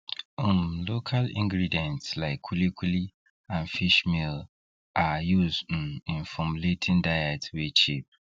um local ingredients like kuli kuli and fishmeal are used um in formulating diets wey cheap